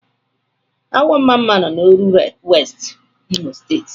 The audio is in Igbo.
Awọ mmamma nọ n'Oru West, Imo State.